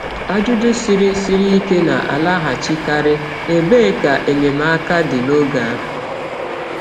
Ajụjụ siri siri ike na-alaghachikarị: Ebee ka enyemaka dị n’oge ahụ?